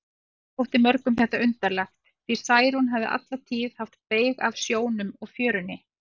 Þótti mörgum þetta undarlegt, því Særún hafði alla tíð haft beyg af sjónum og fjörunni.